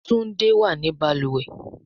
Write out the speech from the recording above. Tunde wá ní baluwe.